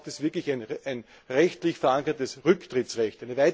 Hier braucht es wirklich ein rechtlich verankertes Rücktrittsrecht.